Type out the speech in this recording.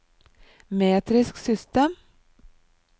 metrisk system